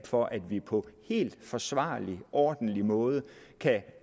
for at vi på en forsvarlig ordentlig måde kan